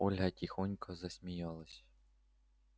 ольга тихонько засмеялась